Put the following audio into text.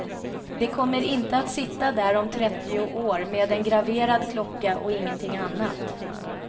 De kommer inte att sitta där om trettio år med en graverad klocka och ingenting annat.